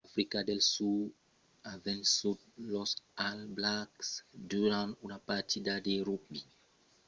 africa del sud a vençut los all blacks nòva zelanda durant una partida de rugbi a xv del campionat tri nations a l'estadi reial bafokeng a rustenburg en africa del sud